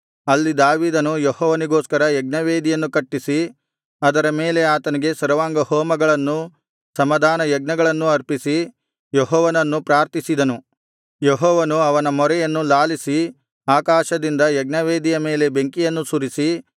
ಅಲ್ಲಿ ದಾವೀದನು ಯೆಹೋವನಿಗೋಸ್ಕರ ಯಜ್ಞವೇದಿಯನ್ನು ಕಟ್ಟಿಸಿ ಅದರ ಮೇಲೆ ಆತನಿಗೆ ಸರ್ವಾಂಗಹೋಮಗಳನ್ನೂ ಸಮಾಧಾನಯಜ್ಞಗಳನ್ನೂ ಅರ್ಪಿಸಿ ಯೆಹೋವನನ್ನು ಪ್ರಾರ್ಥಿಸಿದನು ಯೆಹೋವನು ಅವನ ಮೊರೆಯನ್ನು ಲಾಲಿಸಿ ಆಕಾಶದಿಂದ ಯಜ್ಞವೇದಿಯ ಮೇಲೆ ಬೆಂಕಿಯನ್ನು ಸುರಿಸಿ